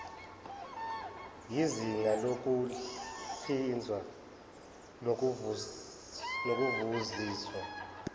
yizinga lokuhlinza nokuvuziswa